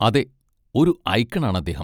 അതെ, ഒരു ഐക്കൺ ആണ് അദ്ദേഹം.